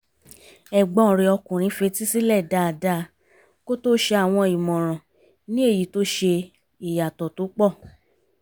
ẹ̀gbọ́n rẹ̀ ọkùnrin fetísílẹ̀ dáadáa kó tó ṣe àwọn ìmọ̀ràn ní èyí tó ṣe ìyàtọ̀ tó pọ̀